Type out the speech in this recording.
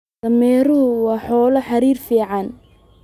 Dameeruhu waa xoolo xidhid fiican.